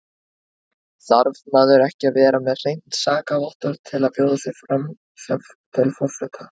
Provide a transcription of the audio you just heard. Þarf maður ekki að vera með hreint sakavottorð til að bjóða sig fram til forseta?